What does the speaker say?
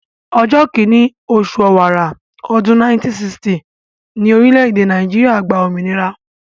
Ọjọ́ kìíní oṣù ọ̀wàrà, ọdún 1960 ni orílẹ̀-èdè Nàìjíríà gba òmìnira